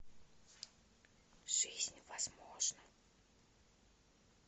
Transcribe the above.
жизнь возможна